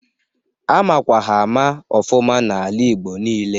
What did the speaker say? A makwa ha ama ọfụma n'ala igbo nile.